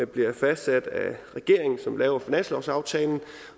bliver fastsat af regeringen som laver finanslovsaftalen